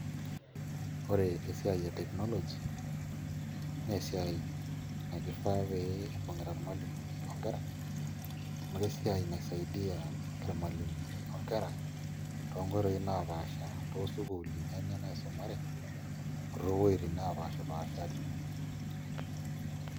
Ore esiai e technology na esiai nakifaa peibungita irmalimulini nkera amu kesiai nai saidi irmalimulini onkera tonkoitoi napaasha tosukuluni enye naisumare otowuetin napashipaashari.